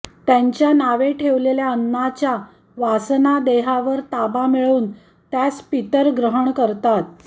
त्यांच्या नावे ठेवलेल्या अन्नाच्या वासनादेहावर ताबा मिळवून त्यास पितर ग्रहण करतात